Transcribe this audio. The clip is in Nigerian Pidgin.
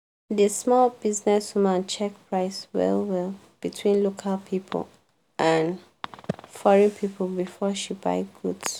di small business woman check price well-well between local people and foreign people before she buy goods.